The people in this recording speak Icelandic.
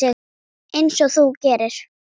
Einsog þú gerir?